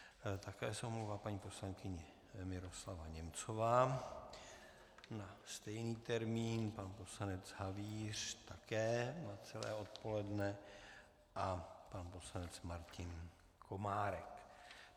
Také se omlouvá paní poslankyně Miroslava Němcová na stejný termín, pan poslanec Havíř také na celé odpoledne a pan poslanec Martin Komárek.